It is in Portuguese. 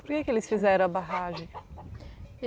Por que que eles fizeram a barragem?